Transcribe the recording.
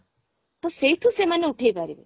ତ ସେଇଠୁ ସେମାନେ ଉଠେଇପାରିବେ